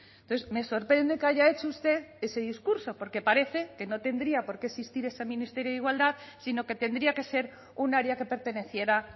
entonces me sorprende que haya hecho usted ese discurso porque parece que no tendría por qué existir ese ministerio de igualdad sino que tendría que ser un área que perteneciera